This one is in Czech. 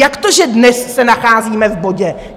Jak to, že dnes se nacházíme v bodě?